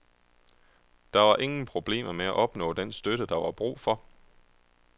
Der var ingen problemer med at opnå den støtte, der var brug for.